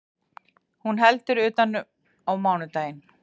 Hún heldur utan á mánudaginn